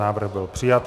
Návrh byl přijat.